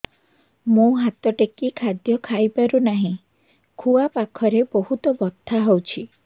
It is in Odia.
ମୁ ହାତ ଟେକି ଖାଦ୍ୟ ଖାଇପାରୁନାହିଁ ଖୁଆ ପାଖରେ ବହୁତ ବଥା ହଉଚି